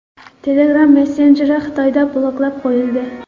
Telegram messenjeri Xitoyda bloklab qo‘yildi.